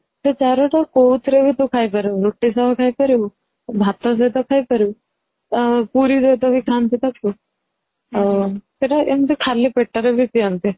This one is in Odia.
ତ ଚାରୁ ଟା କଉ ଥିରେ ବି ତୁ ଖାଇ ପାରିବୁ ରୁଟି ସହ ଖାଇ ପାରିବୁ ଭାତ ସହିତ ଖାଇ ପାରିବୁ ଆଉ ପୁରୀ ରେ ବି ତ ଖାନ୍ତି ତ ଛୁଆ ଆଉ ସେଇଟା ଏମିତି ଖାଲି ପେଟ ରେ ବି ପିଅନ୍ତି